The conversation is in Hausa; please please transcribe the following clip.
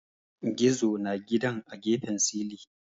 Gizo na gidan a gefen silin